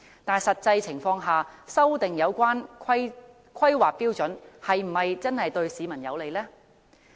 但修訂有關標準是否真的對市民有利？